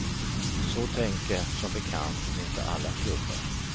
Så tänker, som bekant, inte alla klubbar.